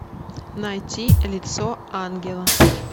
найти лицо ангела